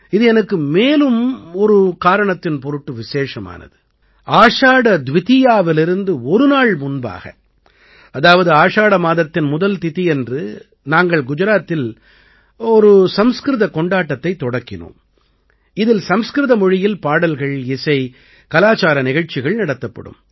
இது எனக்கு மேலும் ஒரு காரணத்தின் பொருட்டு விசேஷமானது ஆஷாட துவிதீயாவிலிருந்து ஒரு நாள் முன்பாக அதாவது ஆஷாட மாதத்தின் முதல் திதியன்று நாங்கள் குஜராத்தில் ஒரு சம்ஸ்கிருதக் கொண்டாட்டத்தைத் தொடக்கினோம் இதில் சம்ஸ்கிருத மொழியில் பாடல்கள்இசை கலாச்சார நிகழ்ச்சிகள் நடத்தப்படும்